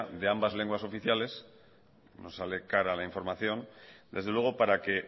de ambas lenguas oficiales nos sale cara la información desde luego para que